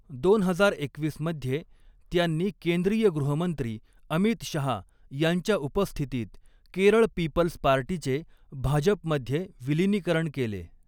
दोन हजार एकवीस मध्ये त्यांनी केंद्रीय गृहमंत्री अमित शहा यांच्या उपस्थितीत केरळ पीपल्स पार्टीचे भाजपमध्ये विलीनीकरण केले.